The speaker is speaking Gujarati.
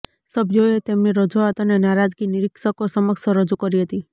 સભ્યોએ તેમની રજૂઆત અને નારાજગી નિરીક્ષકો સમક્ષ રજૂ કરી હતી